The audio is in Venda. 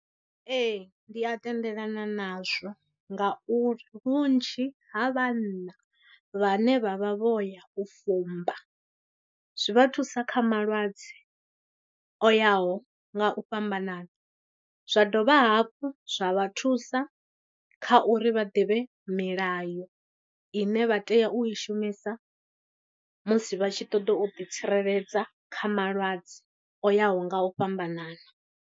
Ee, ndi a tendelana nazwo ngauri vhunzhi ha vhanna vhane vha vha vho ya u fumba zwi vha thusa kha malwadze o yaho nga u fhambanana, zwa dovha hafhu zwa vha thusa kha uri vha ḓivhe milayo ine vha tea u i shumisa musi vha tshi ṱoḓa u ḓi tsireledza kha malwadze o yaho nga u fhambanana.